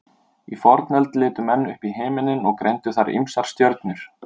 í fornöld litu menn upp í himinninn og greindu þar ýmsar stjörnur